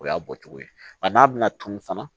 O y'a bɔcogo ye wa n'a bɛna tunun fana